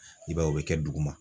I b'a ye o be kɛ duguma.